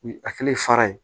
U hakili ye fara ye